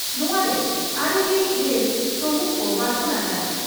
ᱱᱚᱣᱟᱨᱮ ᱟᱨᱮᱜᱮᱞ ᱤᱨᱟᱹᱞ ᱥᱚᱦᱮᱛ ᱠᱚ ᱵᱟᱪᱷᱚᱱ ᱟᱠᱟᱱᱟ